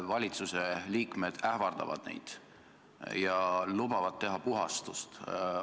Valitsuse liikmed ähvardavad neid ja lubavad teha puhastust.